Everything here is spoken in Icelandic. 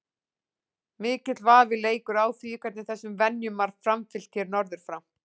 Mikill vafi leikur á því hvernig þessum venjum var framfylgt hér norður frá.